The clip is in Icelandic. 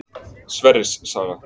Sverris saga.